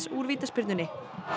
úr vítaspyrnunni